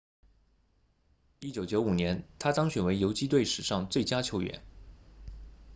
1995年他当选为游击队史上最佳球员